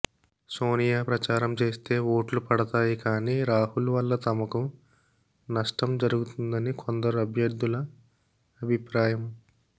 సోనియా ప్రచారం చేస్తే ఓట్లు పడతాయి కానీ రాహుల్ వల్ల తమకు నష్టం జరుగుతుందని కొందరు అభ్యర్థుల అభిప్రాయం